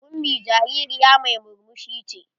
Ummi jaririya mai murmushi ce.